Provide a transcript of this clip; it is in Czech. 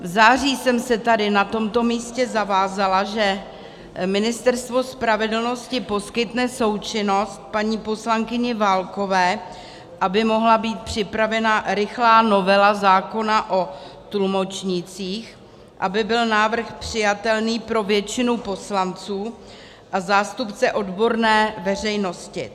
V září jsem se tady na tomto místě zavázala, že Ministerstvo spravedlnosti poskytne součinnost paní poslankyni Válkové, aby mohla být připravena rychlá novela zákona o tlumočnících, aby byl návrh přijatelný pro většinu poslanců a zástupce odborné veřejnosti.